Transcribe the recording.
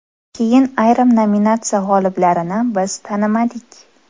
Keyin ayrim nominatsiya g‘oliblarini biz tanimadik.